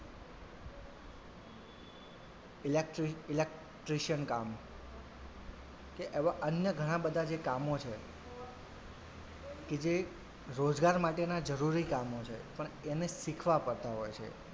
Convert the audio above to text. electricelectrician કામ કે એવાં અન્ય ઘણાં બધાં જે કામો છે કે જે રોજગાર માટેના જરૂરી કામો છે પણ એને શીખવા પડતા હોય છે.